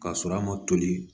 K'a sɔrɔ a ma toli